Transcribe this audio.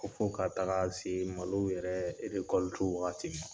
Ko f'ɔ ka taga se malo yɛrɛ erekɔlutu wagati ma